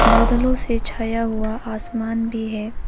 बादलों से छाया हुआ आसमान भी है।